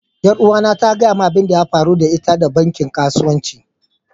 yaruwa na ta gaya min abin da ya faru da ita da bankin kasuwanci.